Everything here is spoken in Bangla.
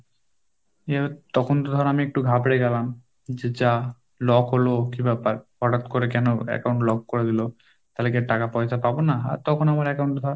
নিয়ে তখন তো ধরো আমি একটু ঘাবড়ে গেলাম, যে যা lock হল কি ব্যাপার? হঠাৎ করে কেন account lock করে দিলো, তাহলে কি টাকা পয়সা পাবো না? আর তখন আমার account এ